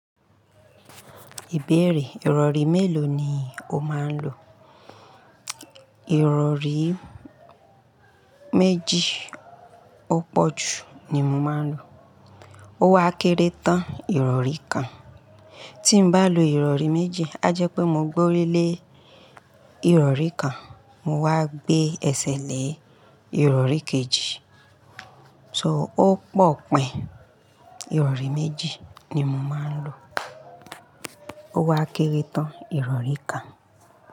Ìbéèrè, ìrọ̀rí mélòó ni o máa ń lò? Ìrọ̀rí méjì ó pọ̀ ju ni mo máa ń lò. Ó wa kéré tán ìrọ̀rí kan. Tí mo bá lo ìrọ̀rí méjì, a jẹ́ pé mo gbórílé ìrọ̀rí kan, mo wá gbé ẹsẹ̀ lé ìrọ̀rí kejì. So ó pọ̀ pín, ìrọ̀rí méjì ni mo máa ń lò. Ó wa kéré tán ìrọ̀rí kan.